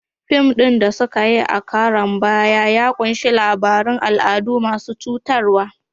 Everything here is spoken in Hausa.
Fim ɗin da suka yi a karon baya ya ƙunshi labarun al'adu masu cutarwa.